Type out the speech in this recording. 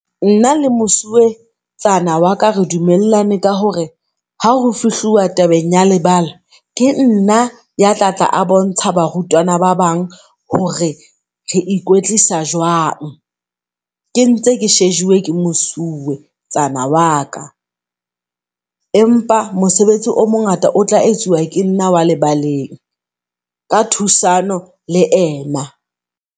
Nna le Mosuwetsana waka re dumellane ka hore ha ho fihluwa tabeng ya lebala, ke nna yatlatla a bontsha barutwana ba bang hore re ikwetlisa jwang. Ke ntse ke shejuwe ke Mosuwetsana wa ka. Empa mosebetsi o mongata o tla etsuwa ke nna wa lebaleng ka thusano le ena.